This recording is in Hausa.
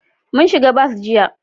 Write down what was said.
Mun shiga bas jiya